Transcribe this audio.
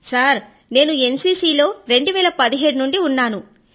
sir నేను NCC లో 2017 నుండి ఉన్నాను